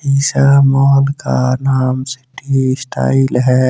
इस मॉल का नाम सिटी स्टाइल है।